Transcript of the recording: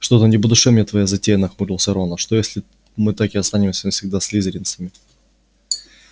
что-то не по душе мне твоя затея нахмурился рон а что если мы так и останемся навсегда слизеринцами